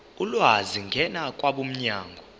ulwazi ngena kwabomnyango